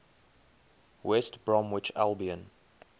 west bromwich albion